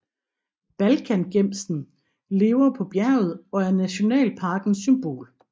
Balkangemsen lever på bjerget og er nationalparkens symbol